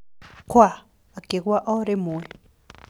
Kwa! Akĩgũa o rĩmwe.